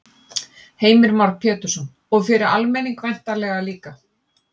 Heimir Már Pétursson: Og fyrir almenning væntanlega líka?